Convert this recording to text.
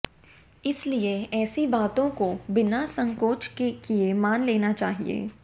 इसलिए ऐसी बातों को बिना संकोच किए मान लेना चाहिए